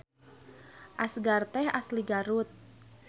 Asgar teh asli Garut